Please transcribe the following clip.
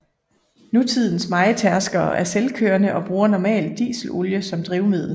Nutidens mejetærskere er selvkørende og bruger normalt dieselolie som drivmiddel